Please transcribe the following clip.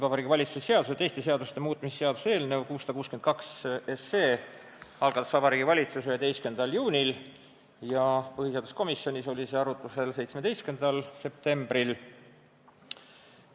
Vabariigi Valitsuse seaduse ja teiste seaduste muutmise seaduse eelnõu 662 algatas Vabariigi Valitsus 11. juunil ja põhiseaduskomisjonis oli see arutlusel 17. septembril.